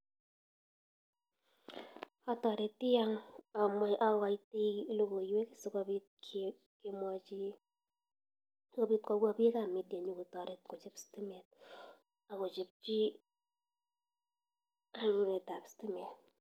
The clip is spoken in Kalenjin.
Ataretii amwataii lokoywek sii kopit kopwa bik ab media nyokotaret kochop stimet akochopchii lainda ab stimet